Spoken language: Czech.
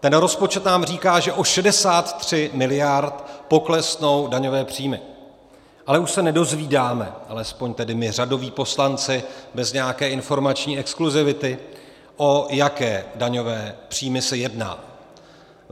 Ten rozpočet nám říká, že o 63 miliard poklesnou daňové příjmy, ale už se nedozvídáme, alespoň tedy my řadoví poslanci bez nějaké informační exkluzivity, o jaké daňové příjmy se jedná.